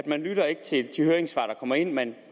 man lytter ikke til de høringssvar der kommer ind man